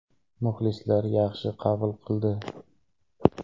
Muxlislar yaxshi qabul qildi.